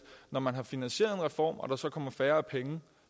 når man har finansieret en reform og der så kommer færre penge